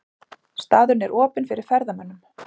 Staðurinn er opinn fyrir ferðamönnum.